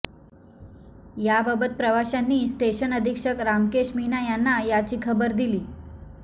याबाबत प्रवाशांनी स्टेशन अधीक्षक रामकेश मीना यांना याची खबर दिली